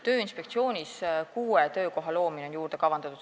Tööinspektsiooni on kavandatud luua kuus töökohta.